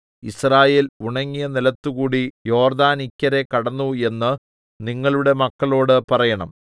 യിസ്രായേൽ ഉണങ്ങിയ നിലത്തുകൂടി യോർദ്ദാനിക്കരെ കടന്നു എന്ന് നിങ്ങളുടെ മക്കളോട് പറയേണം